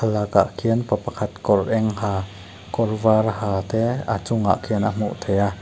bakah khian pa pakhat kawr eng ha kawr var ha te a chungah khian a hmuh theih a.